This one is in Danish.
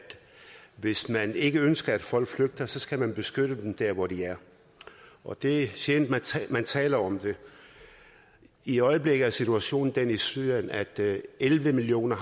hvis man ikke ønsker at folk flygter så skal man beskytte dem der hvor de er og det er sjældent at man taler om det i øjeblikket er situationen i syrien at elleve millioner